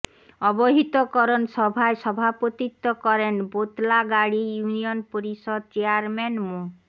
অবহিতকরণ সভায় সভাপতিত্ব করেন বোতলাগাড়ী ইউনিয়ন পরিষদ চেয়ারম্যান মো